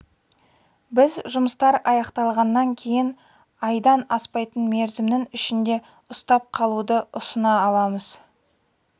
біз жұмыстар аяқталғаннан кейін айдан аспайтын мерзімнің ішінде ұстап қалуды ұсына аламыз